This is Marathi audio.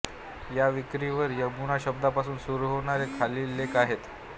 या विकिवर यमुना शब्दापासून सुरू होणारे खालील लेख आहेत